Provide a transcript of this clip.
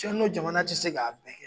n'o jamana tɛ se k'a bɛɛ kɛ.